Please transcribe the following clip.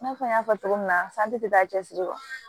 I n'a fɔ n y'a fɔ cogo min na tɛ taa cɛsiri kɔ